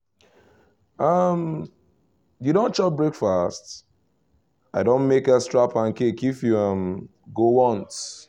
um you don chop breakfast? i don make extra pancake if you um go want